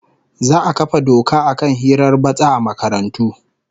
Za'a kafa doka akan hirar batsa a makarantu